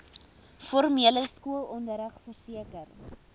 formele skoolonderrig verseker